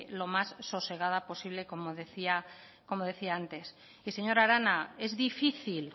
lo más sosegada posible como decía antes señora arana es difícil